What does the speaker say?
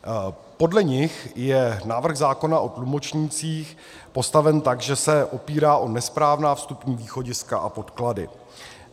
Podle nich je návrh zákona o tlumočnících postaven tak, že se opírá o nesprávná vstupní východiska a podklady.